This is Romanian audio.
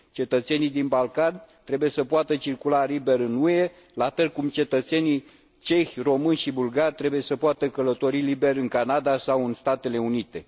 Cetățenii din Balcani trebuie să poată circula liber în UE, la fel cum cetățenii cehi, români și bulgari trebuie să poată călători liberi în Canada sau în Statele Unite.